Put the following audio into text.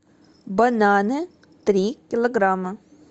бананы три килограмма